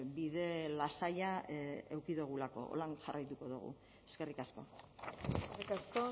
bide lasaia eduki dugulako horrela jarraituko dugu eskerrik asko eskerrik asko